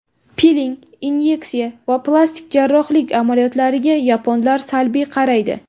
Piling, inyeksiya va plastik jarrohlik amaliyotlariga yaponlar salbiy qaraydi.